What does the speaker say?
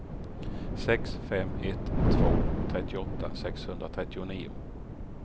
sex fem ett två trettioåtta sexhundratrettionio